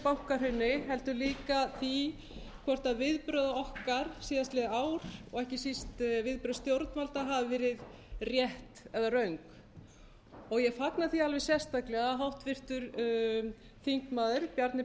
bankahruni heldur líka því hvort viðbrögð okkar síðastliðið ár og ekki síst viðbrögð stjórnvalda hafi verið rétt eða röng ég fagna því alveg sérstaklega að háttvirtur þingmaður bjarni